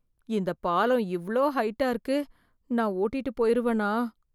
இந்த பாலம் இவ்ளோ ஹைட்டா இருக்கு, நான் ஓட்டிட்டு போயிருவனா?